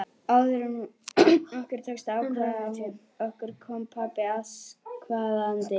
Áður en okkur tókst að ákveða okkur kom pabbi askvaðandi.